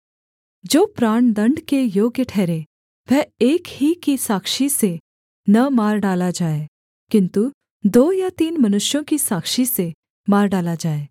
जो प्राणदण्ड के योग्य ठहरे वह एक ही की साक्षी से न मार डाला जाए किन्तु दो या तीन मनुष्यों की साक्षी से मार डाला जाए